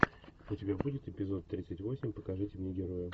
у тебя будет эпизод тридцать восемь покажите мне героя